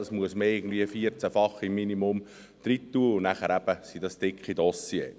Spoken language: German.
Man muss dies im Minimum 14-fach eingeben und dann sind dies eben dicke Dossiers.